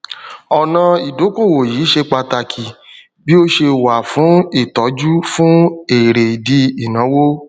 ọnà ìdókòwò yìí ṣé pàtàkì bí ó ṣe wà fún ìtọjú fún èrèdí ìnáwó